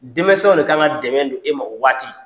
Dɛmɛsɛnw de ka ŋa dɛmɛ don e ma o waati.